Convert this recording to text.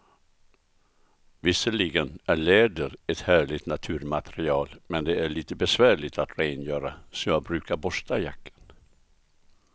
Visserligen är läder ett härligt naturmaterial, men det är lite besvärligt att rengöra, så jag brukar borsta jackan.